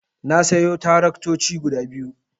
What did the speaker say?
Na sayo taraktoci guda biyu.